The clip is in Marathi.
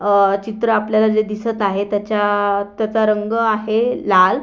अ चित्र आपल्याला जे दिसत आहे त्याच्या त्याचा रंग आहे लाल.